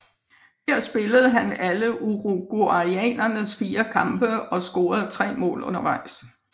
Her spillede han alle uruguayanernes fire kampe og scorede tre mål undervejs